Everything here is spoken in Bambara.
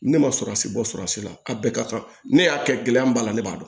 Ne ma surasi bɔ surasi la a bɛɛ ka kan ne y'a kɛ gɛlɛya b'a la ne b'a dɔn